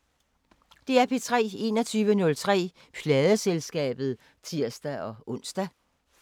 21:03: Pladeselskabet (tir-ons)